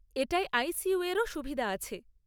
এটায় I C U এরও সুবিধা আছে।